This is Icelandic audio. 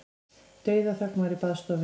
Dauðaþögn var í baðstofunni.